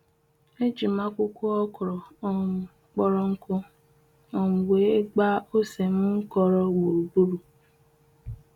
Eji m akwukwo okro um kporonku um wee gbaa ose m nkoro gburugburu.